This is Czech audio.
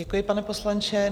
Děkuji, pane poslanče.